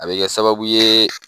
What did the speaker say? A bɛ kɛ sababu ye